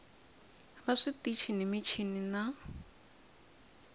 va switichi ni michini na